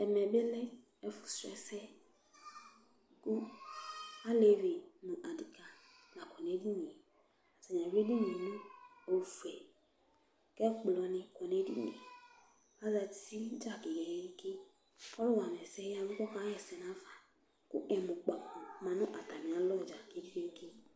ɛmɛ bi lɛ ɛfu srɔ ɛsɛ kò alevi no adeka la kɔ no edini yɛ atani awi edini yɛ no ofue k'ɛkplɔ ni kɔ no edini yɛ azati dza ke ke ke k'ɔlo wama ɛsɛ ya vu k'ɔka ɣa ɛsɛ n'afa kò ɛmunukpako ma no atami alɔ dza ke ke ke